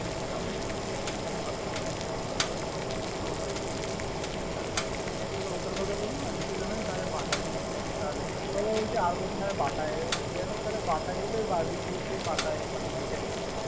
বেশি দাম ও না । ষাট টাকা না সত্তর টাকা নেয়। তো আমি, ওটার কথা বললাম। বাটায় যদি যাস। আর কোথায় বাটায়। তাহলে বাটায় বারবিকিউতে গেলে।